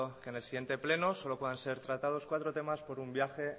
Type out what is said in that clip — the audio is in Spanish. en el siguiente pleno solo puedan ser tratados cuatro temas por un viaje